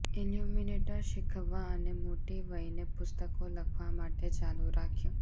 illuminator શીખવવા અને મોટી વયને પુસ્તકો લખવા માટે ચાલુ રાખ્યું